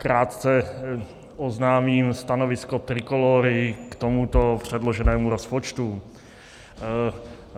Krátce oznámím stanovisko Trikolóry k tomuto předloženému rozpočtu.